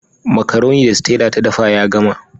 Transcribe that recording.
Makaroni da Stella ta dafa ya gama.